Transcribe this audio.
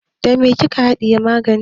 Da me kika haɗiye maganin?